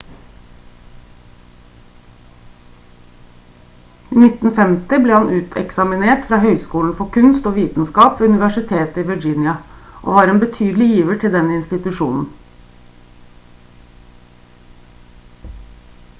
i 1950 ble han uteksaminert fra høyskolen for kunst og vitenskap ved universitetet i virginia og var en betydelig giver til den institusjonen